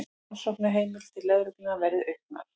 Rannsóknarheimildir lögreglu verði auknar